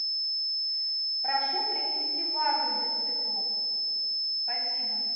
прошу принести вазу для цветов спасибо